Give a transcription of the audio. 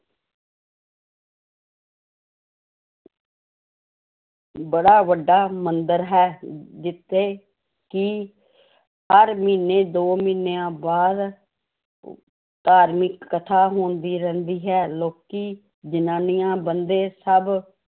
ਬੜਾ ਵੱਡਾ ਮੰਦਿਰ ਹੈ ਅਮ ਜਿੱਥੇ ਕਿ ਹਰ ਮਹੀਨੇ ਦੋ ਮਹੀਨਿਆਂ ਬਾਅਦ ਧਾਰਮਿਕ ਕਥਾ ਹੁੰਦੀ ਰਹਿੰਦੀ ਹੈ ਲੋਕੀ, ਜ਼ਨਾਨੀਆਂ, ਬੰਦੇ ਸਭ